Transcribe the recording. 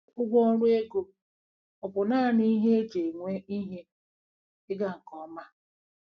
Ụgwọ ọrụ ego ọ̀ bụ naanị ihe e ji enwe ihe ịga nke ọma?